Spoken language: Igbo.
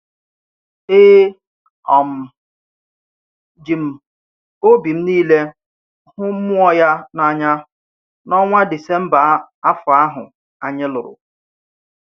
E um ji m obi m niile hụ mmụọ ya n’anya, n’ọnwa Disemba afọ ahụ, anyị lụrụ.